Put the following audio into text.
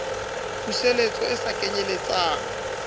puseletso e se kenyel letsang